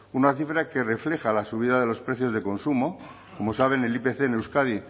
una cifra que refleja la subida de los precios de consumo como saben el ipc en euskadi